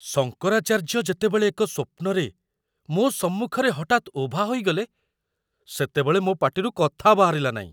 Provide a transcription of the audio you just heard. ଶଙ୍କରାଚାର୍ଯ୍ୟ ଯେତେବେଳେ ଏକ ସ୍ୱପ୍ନରେ ମୋ ସମ୍ମୁଖରେ ହଠାତ୍ ଉଭା ହୋଇଗଲେ, ସେତେବେଳେ ମୋ ପାଟିରୁ କଥା ବାହାରିଲା ନାହିଁ।